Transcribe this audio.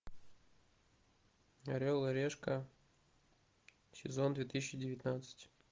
орел и решка сезон две тысячи девятнадцать